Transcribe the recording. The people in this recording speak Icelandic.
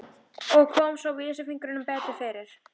Og kom svo vísifingrinum betur fyrir.